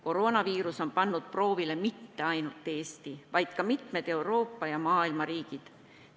Koroonaviirus on pannud proovile mitte ainult Eesti, vaid ka mitmed teised Euroopa ja muu maailma riigid.